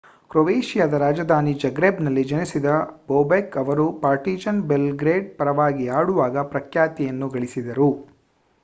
ಕ್ರೊಯೇಷಿಯಾದ ರಾಜಧಾನಿ ಜಗ್ರೆಬ್‌ನಲ್ಲಿ ಜನಿಸಿದ ಬೊಬೆಕ್ ರವರು ಪಾರ್ಟಿಜಾನ್ ಬೆಲ್‌ಗ್ರೇಡ್ ಪರವಾಗಿ ಆಡುವಾಗ ಪ್ರಖ್ಯಾತಿಯನ್ನು ಗಳಿಸಿದರು